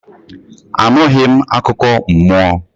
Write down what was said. Anughi m akụkọ mmụọ